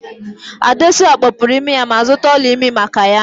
Adesua kpọpụru imi ya ma zụta ọla ịmị maka ya